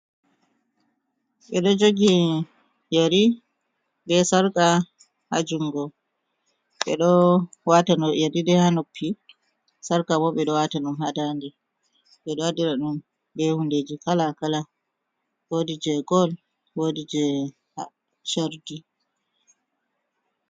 Ɓe ɗo jogi yari be sarqa ha jungo ɓeɗo wata no yarine ha noppi sarka bo ɓe ɗo wata ɗun ha nda nde ɓe ɗo andira ɗun be hundeji kala kala wodi je gol wodi je shardi.